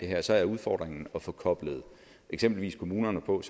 her så er udfordringen at få koblet eksempelvis kommunerne og